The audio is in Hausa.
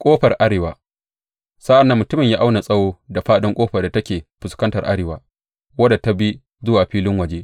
Ƙofar arewa Sa’an nan mutumin ya auna tsawo da fāɗin ƙofar da take fuskantar arewa, wadda take bi zuwa filin waje.